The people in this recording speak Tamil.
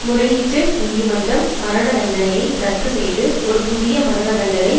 முறையீட்டு நீதிமன்றம் மரண தண்டனையை இரத்து செய்து ஒரு புதிய மரண தண்டனை